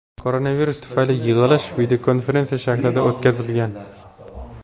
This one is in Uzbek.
Koronavirus tufayli yig‘ilish videokonferensiya shaklida o‘tkazilgan.